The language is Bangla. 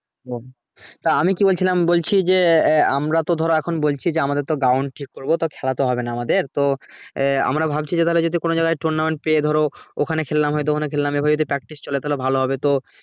ও তা আমি কি বলছিলাম যে আমরা তো ধরো এখন বলছি যে আমরা তো ধরো এখন বলছি যে আমাদের ground ঠিক করবো তো খেলাতো হবে না আমাদের তো আহ আমরা ভাবছি যে তাহলে কোনো জায়গা tournament পেয়ে ধরো ওখানে খেললাম ধরো ওখানে খেললাম এভাবে practice চলে তাহলে ভালো হবে তো